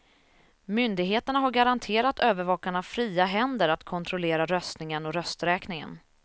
Myndigheterna har garanterat övervakarna fria händer att kontrollera röstningen och rösträkningen.